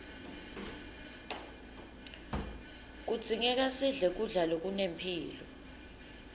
kudzingeka sidle kudla lokunempilo